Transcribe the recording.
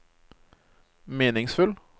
meningsfull